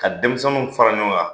Ka denmisɛnninw fara ɲɔgɔn kan.